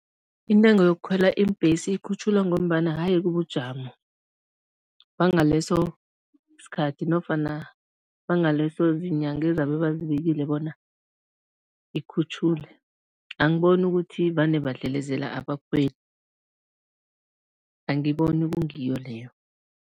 Intengo yokukhwela iimbhesi ikhutjhulwa ngombana yaye kubujamo bangaleso sikhathi nofana bangaleso ziinyanga ezabe bazibekile bona ikhutjhulwe. Angiboni ukuthi vane badlelezela abakhweli, angiboni kungiyo leyo.